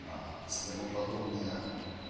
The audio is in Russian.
спермо подобные